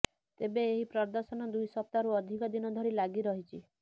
ତେବେ ଏହି ପ୍ରଦର୍ଶନ ଦୁଇ ସପ୍ତାହରୁ ଅଧିକ ଦିନ ଧରି ଲାଗି ରହିଛି